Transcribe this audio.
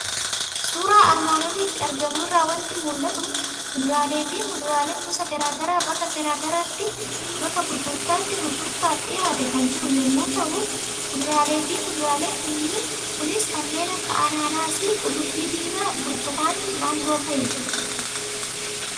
Suuraa armaan olitti argamu irraa waanti mul'atu; kuduraaleefi muduraalee gosa garaagaraa bakka gurgurtaatti gurgurtaattaaf dhiyaatee kan jiru yommuu ta'u, kuduraaleefi muduraalee kunis kanneen akka Anaanaasii, Qullubbii diimaa, burtukaani, Maangoo fa'idha.